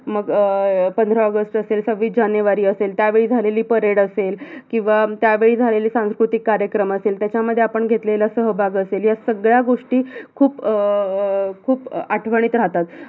मग अं पंधरा ऑगस्ट असेल, सव्वीस जानेवारी असेल, त्यावेळी झालेली परेड असेल किवा त्यावेळी झालेली सांस्कृतिक कार्यक्रम असेल, त्याच्यामध्ये आपण घेतलेला सहभाग असेल या सगळ्या गोष्टी खूप अं खूप आठवणीत राहतात